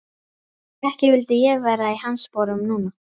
Ekki vildi ég vera í hans sporum núna.